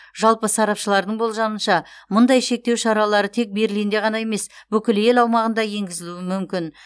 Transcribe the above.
жалпы сарапшылардың болжамынша мұндай шектеу шаралары тек берлинде ғана емес бүкіл ел аумағында енгізілуі мүмкін